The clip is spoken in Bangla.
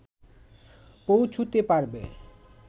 পৌঁছুতে পারবে